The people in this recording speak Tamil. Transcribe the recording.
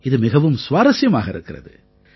இது மிகவும் சுவாரசியமாக இருக்கிறது